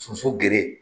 Soso gere